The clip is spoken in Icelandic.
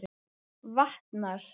Vatnar